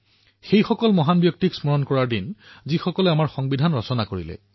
সেই মহান ব্যক্তিসকলক স্মৰণ কৰাৰ দিন যিসকলে আমাৰ সংবিধান ৰচনা কৰিলে